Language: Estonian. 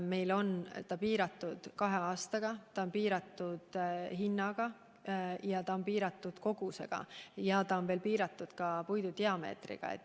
Meil on see meede piiratud kahe aastaga, see on piiratud hinnaga ja on piiratud kogusega, samuti puidu diameetriga.